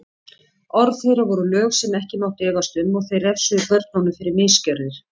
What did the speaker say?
Orð þeirra voru lög sem ekki mátti efast um og þeir refsuðu börnunum fyrir misgjörðir.